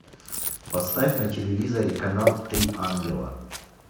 поставь на телевизоре канал три ангела